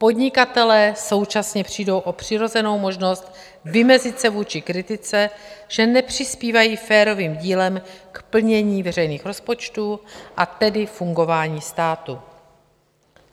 Podnikatelé současně přijdou o přirozenou možnost vymezit se vůči kritice, že nepřispívají férovým dílem k plnění veřejných rozpočtů, a tedy fungování státu.